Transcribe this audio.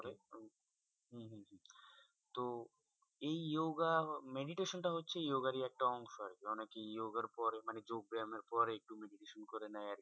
তো এই yoga meditation টা হচ্ছে yoga র ই একটা অংশ আরকি অনেকে yoga র পর মানে যোগ ব্যায়াম এরপর, একটু meditation করে নেয়।